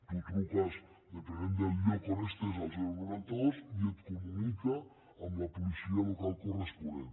tu truques depenent del lloc on estiguis al noranta dos i et comunica amb la policia local corresponent